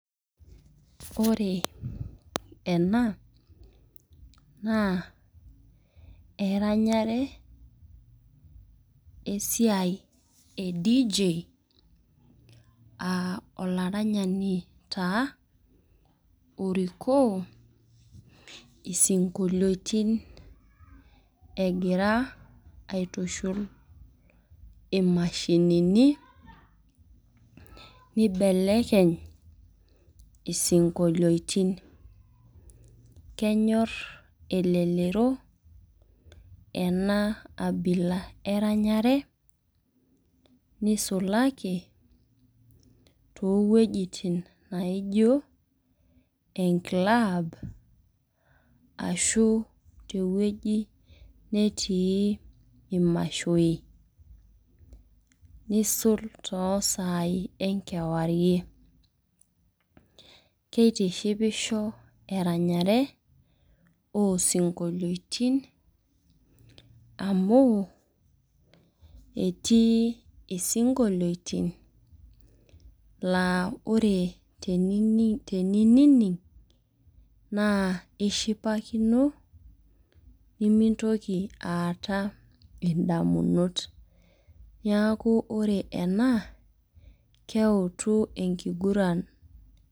Ore ena naa eranyare, esiai e dj olaranyani taa orikok isinkoliotin egira aitushul, imashinini nibelekeny isinkoliotin. kenyor elelero ena abila eranyare nisulaki too wuejitin naijo e club ashu te wueji netii imashoi. nisul too sai enkerwarie. keitishipisho eranyare osinkoliotin. amu etii sinkoliotin naa tenining, nishipakino, nemintoki aata damunot .neeku ore ena keutu enkiguran.